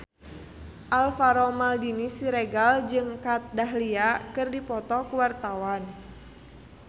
Alvaro Maldini Siregar jeung Kat Dahlia keur dipoto ku wartawan